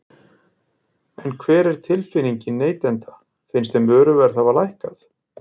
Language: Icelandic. En hver er tilfinningin neytenda, finnst þeim vöruverð hafa lækkað?